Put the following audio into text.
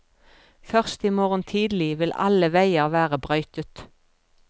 Først i morgen tidlig vil alle veier være brøytet.